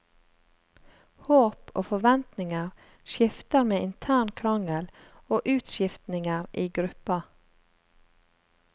Håp og forventninger skifter med intern krangel og utskiftninger i gruppa.